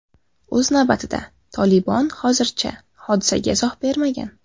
O‘z navbatida, Tolibon hozircha hodisaga izoh bermagan.